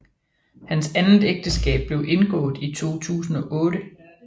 Hans andet ægteskab blev indgået i 2008